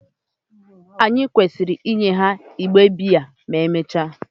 Ànyị kwesịrị inye ha otu igbe biya ma emechaa?